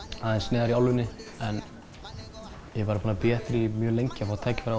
neðar í álfunni en ég er búinn að bíða eftir því mjög lengi að fá tækifæri